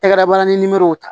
Tɛgɛ dabaniw ta